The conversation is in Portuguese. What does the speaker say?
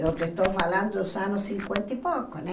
Eu estou falando dos anos cinquenta e pouco, né?